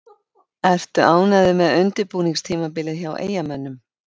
Ertu ánægður með undirbúningstímabilið hjá Eyjamönnum?